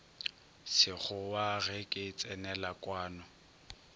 sekgowa ge ke tsenela kwano